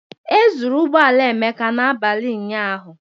E zuru ụgbọ ala Emeka abalị ụnyaahụ